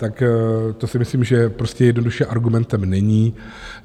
Tak to si myslím, že prostě jednoduše argumentem není.